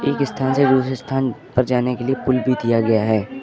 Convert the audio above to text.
एक स्थान से दूसरे स्थान पर जाने के लिए पुल भी दिया गया है।